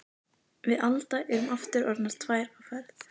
Við Alda erum aftur orðnar tvær á ferð.